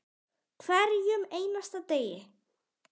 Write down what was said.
Hverjum einasta degi.